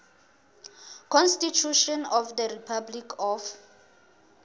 constitution of the republic of